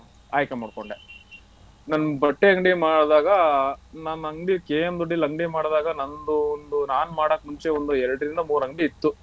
ಆಯ್ಕೆ ಮಾಡಕೊಂಡೆ ನಾನ್ ಬಟ್ಟೆ ಅಂಗಡಿ ಮಾಡದಾಗ ನಾನ್ ಅಂಗ್ಡಿ KM Doddi ಲಿ ಅಂಗ್ಡಿ ಮಾಡದಾಗ ನಂದು ಒಂದು ನಾನ್ ಮಾಡೋಕ್ ಮುಂಚೆ ಒಂದ್ ಎರಡರಿಂದ ಮೂರ ಅಂಗ್ಡಿ ಇತ್ತು.